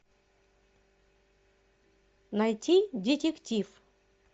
найти детектив